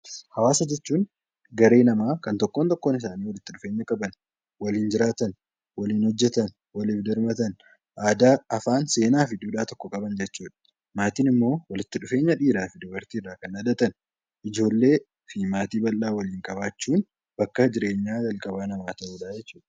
Hawaasa jechuun tokkoon tokkoon namootaa walitti dhufanii waliin jiraatan waliin hojjatan waliif birmatan aadaa, afaan , seenaa fi duudhaa tokko qaban jechuudha. Maatii jechuun immoo walitti dhufeenya dhiiraa fi dubartiin kan dhalatan ijoollee maatii bal'aa waliin qabaachuun bakka jireenyaa namaa kan ta'udha.